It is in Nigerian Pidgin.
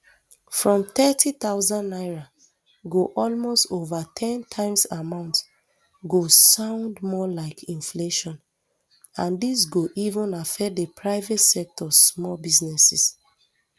from thirty thousand naira go almost ova ten times amount go sound um more like inflation and dis go even affect di private sectors small businesses